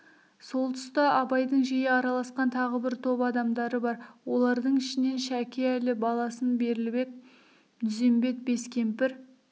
сол тұста абайдың жиі араласқан тағы бір топ адамдары бар олардың ішінен шәке әлі баласын берлібек дүзбембет бескемпір